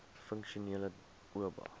funksionele oba